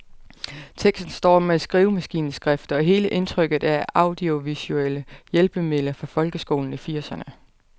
Teksten står med skrivemaskineskrift, og hele indtrykket er af audiovisuelle hjælpemidler fra folkeskolen i firserne.